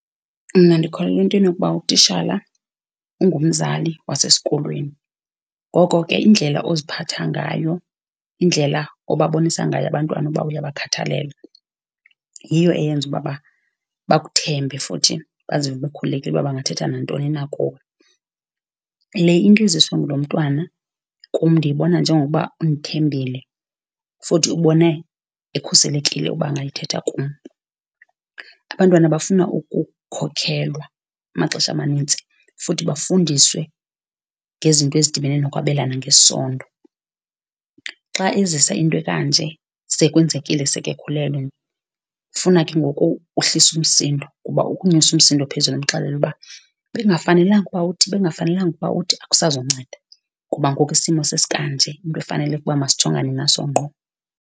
Mna ndikholelwa entweni yokuba utishala ungumzali wasesikolweni, ngoko ke indlela oziphatha ngayo, indlela obabonisa ngayo abantwana uba uyabakhathalela yiyo eyenza uba bakuthembe futhi bazive bekhululekile uba bangathetha nantoni na kuwe. Le into iziswa ngulo mntwana kum ndiyibona njengokuba undithembile, futhi ubone ekhuselekile uba angayithetha kum. Abantwana bafuna ukukhokhelwa amaxesha amanintsi, futhi bafundiswe ngezinto ezidibene nokwabelana ngesondo. Xa ezisa into ekanje, sekwenzekile sekekhulelwe ifuna ke ngoku uhlise umsindo, kuba ukunyusa umsindo phezulu umxelele uba bekungafanelanga uba uthi, bekungafanelanga uba uthi akusazunceda, kuba ngoku isimo sesikanje, into efanele ukuba masijongane naso ngqo.